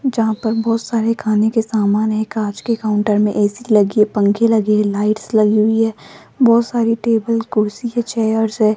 जहां पर बहोत सारे खाने के समान है कांच के काउंटर में ए_सी लागी पंखे लगे है लाइट्स लगी हुई है बहोत सारी टेबल कुर्सी है चेयर्स है।